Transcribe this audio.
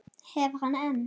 Hef hann enn.